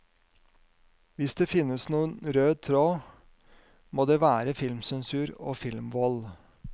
Hvis det finnes noen rød tråd, må det være filmsensur og filmvold.